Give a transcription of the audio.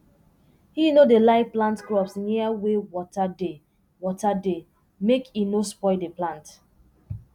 he no dey like plant crops near wey water dey water dey make e no spoil d plant